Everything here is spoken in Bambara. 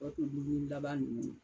Tɔ to dumuni laban nunnu ye